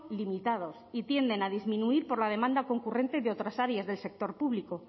limitados y tienden a disminuir por la demanda concurrente de otras áreas del sector público